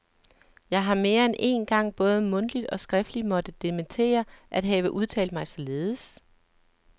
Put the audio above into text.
Jeg har mere end én gang både mundtligt og skriftligt måtte dementere at have udtalt mig således.